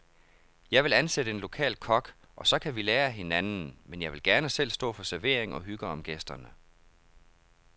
Jeg vil ansætte en lokal kok, og så kan vi lære af hinanden, men jeg vil gerne selv stå for servering og hygge om gæsterne.